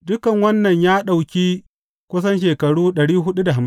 Dukan wannan ya ɗauki kusan shekaru